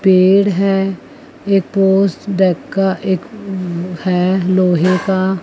पेड़ है एक एक है लोहे का--